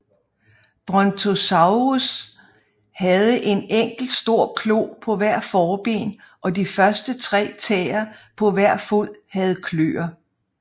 Brontosaurus havde en enkelt stor klo på hvert forben og de første tre tæer på hver fod havde kløer